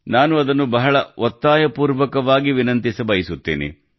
ನಾನು ಆ ಕುರಿತು ಬಹಳಷ್ಟು ವಿನಂತಿಸಬಯಸುತ್ತೇನೆ